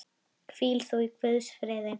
Hvíl þú í Guðs friði.